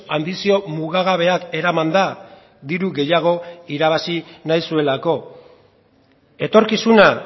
anbizio mugagabeak eramanda diru gehiago irabazi nahi zuelako etorkizuna